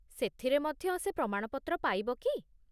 ସେଥିରେ ମଧ୍ୟ ସେ ପ୍ରମାଣପତ୍ର ପାଇବ କି?